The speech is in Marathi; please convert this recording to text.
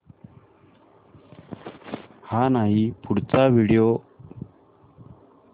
हा नाही पुढचा व्हिडिओ